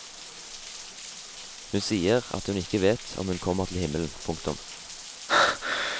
Hun sier at hun ikke vet om hun kommer til himmelen. punktum